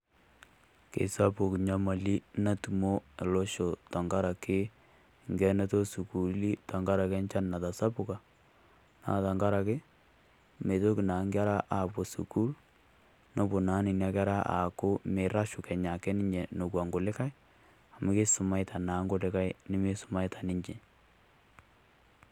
Kesapuk nyamali natumo losho tankaraki enkienoto o sukuli tenkaraki enchan natasapuka. Naa tankaraki meitoki naa nkerra apo sukulini. Nepoo naa nenia nkerra aaku meirashu kenyaake ninye nekwaa ng'ulikai amu keisomatia naa nkulikai nimeisometa ninchee.